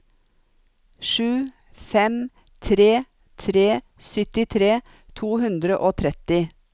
sju fem tre tre syttitre to hundre og tretti